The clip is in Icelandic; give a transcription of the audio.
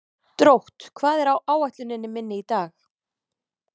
Drótt, hvað er á áætluninni minni í dag?